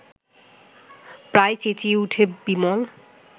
প্রায় চেঁচিয়ে ওঠে বিমল